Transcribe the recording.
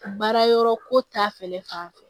Baara yɔrɔ ko ta fɛnɛ fanfɛ